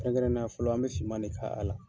Kɛrɛnkɛrɛnneya fɔlɔ an bɛ si ma de kɛ a la